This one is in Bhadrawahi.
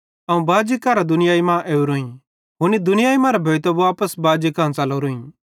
अवं बाजी करां दुनियाई मां ओरोईं हुनी दुनियाई मरां भोइतां वापस बाजी कां च़लोरोईं